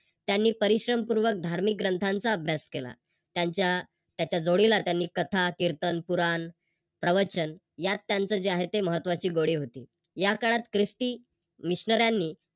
त्यांनी परिश्रमपूर्वक धार्मिक ग्रंथांचा अभ्यास केला. त्यांच्या त्याचा जोडीला त्यांनी कथा, कीर्तन, पुराण, प्रवचन यात त्यांच जे आहे त्यांची महत्वाची गोडी होती. या काळात Chrishti